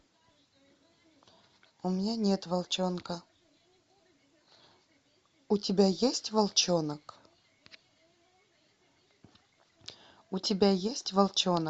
у меня нет волчонка у тебя есть волчонок у тебя есть волчонок